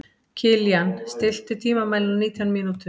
Kilían, stilltu tímamælinn á nítján mínútur.